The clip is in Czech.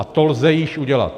A to lze již udělat.